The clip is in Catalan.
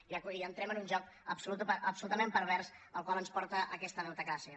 i entrem en un joc absolutament pervers al qual ens porta aquesta deutecràcia